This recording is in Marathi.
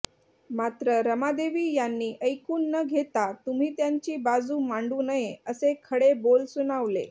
मात्र रमादेवी यांनी ऐकून न घेता तुम्ही त्यांची बाजू मांडू नये असे खडे बोल सुनावले